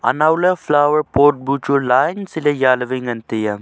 anowley flower pot bu chu line sile jya lewai ngan taiya.